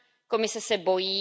Komise se bojí.